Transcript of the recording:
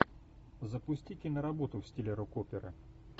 запусти киноработу в стиле рок оперы